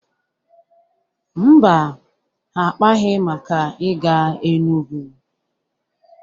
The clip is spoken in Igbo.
Mba, ha akpaghị maka ịga Enugu.